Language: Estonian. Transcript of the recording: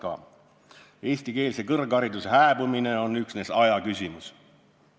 Ta on öelnud, et eestikeelse kõrghariduse hääbumine on üksnes aja küsimus.